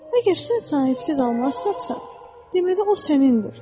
Əgər sən sahibsiz almaz tapsan, deməli o sənindir.